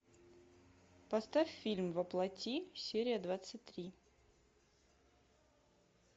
поставь фильм во плоти серия двадцать три